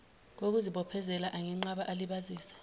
kokuzibophezela angenqaba alibazise